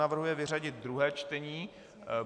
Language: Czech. Navrhuje vyřadit druhé čtení.